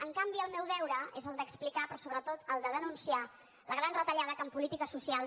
en canvi el meu deure és el d’explicar però sobretot el de denunciar la gran retallada que en polítiques socials